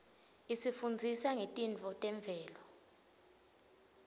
isifundzisa ngetintfo temvelo